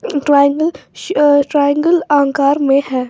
Triangle शअ triangle आकार में है।